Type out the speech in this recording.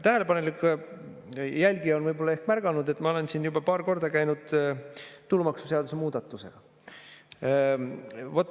Tähelepanelik jälgija on võib‑olla ehk märganud, et ma olen siin juba paar korda käinud tulumaksuseaduse muudatusega.